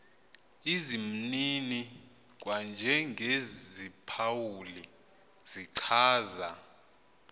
izimnini kwanjengeziphawuli zichaza